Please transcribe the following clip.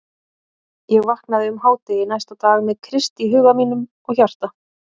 Ég vaknaði um hádegi næsta dag með Krist í huga mínum og hjarta.